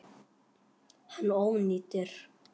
Hann ónýtir.